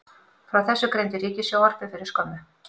Frá þessu greindi Ríkissjónvarpið fyrir skömmu